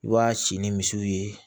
I b'a si ni misiw ye